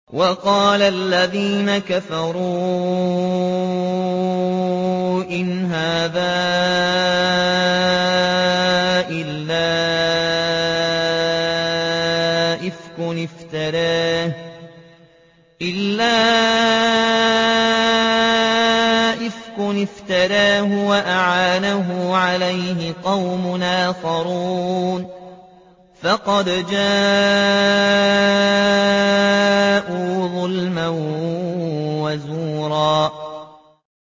وَقَالَ الَّذِينَ كَفَرُوا إِنْ هَٰذَا إِلَّا إِفْكٌ افْتَرَاهُ وَأَعَانَهُ عَلَيْهِ قَوْمٌ آخَرُونَ ۖ فَقَدْ جَاءُوا ظُلْمًا وَزُورًا